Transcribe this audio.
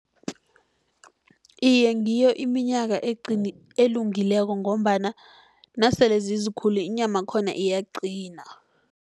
Iye, ngiyo iminyaka elungileko, ngombana nasele zizikulu inyama yakhona iyaqina.